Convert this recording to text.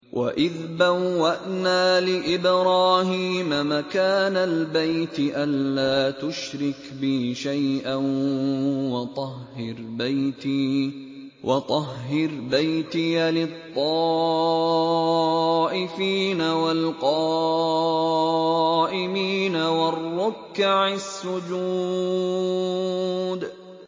وَإِذْ بَوَّأْنَا لِإِبْرَاهِيمَ مَكَانَ الْبَيْتِ أَن لَّا تُشْرِكْ بِي شَيْئًا وَطَهِّرْ بَيْتِيَ لِلطَّائِفِينَ وَالْقَائِمِينَ وَالرُّكَّعِ السُّجُودِ